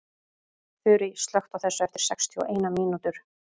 Þurý, slökktu á þessu eftir sextíu og eina mínútur.